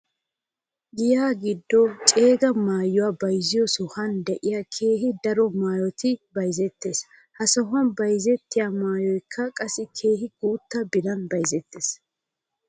Giya giddo ceega maayuwaa bayzziyoo sohey de'iyaagan keehi daro maayoy bayzzettes. He sohuwan bayzettiyaa maayoykka qassi keehi guutta biran bayzettes.